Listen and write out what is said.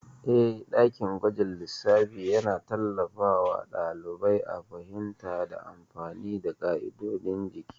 Eh, dakin gwajin lissafi yana tallafawa ɗalibai a fahimta da amfani da ƙa'idodin jiki.